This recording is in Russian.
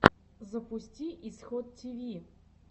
запусти исход тиви